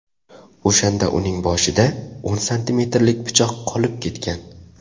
O‘shanda uning boshida o‘n santimetrlik pichoq qolib ketgan.